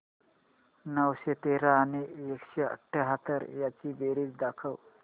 नऊशे तेरा आणि एकशे अठयाहत्तर यांची बेरीज दाखव